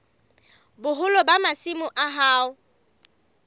boholo ba masimo a hao